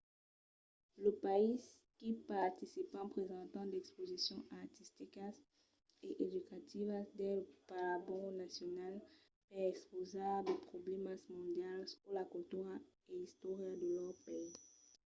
los païses qu'i participan presentan d'exposicions artisticas e educativas dins de pabalhons nacionals per expausar de problèmas mondials o la cultura e istòria de lor país